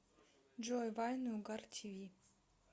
джой вайны угар ти ви